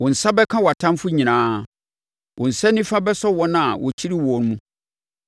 Wo nsa bɛka wʼatamfoɔ nyinaa; wo nsa nifa bɛsɔ wɔn a wɔkyiri woɔ mu.